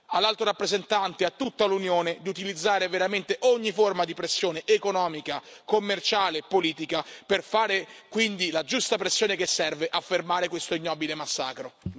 All'Alto rappresentante, a tutta l'Unione chiediamo di utilizzare veramente ogni forma di pressione economica, commerciale e politica per fare quindi la giusta pressione che serve a fermare questo ignobile massacro.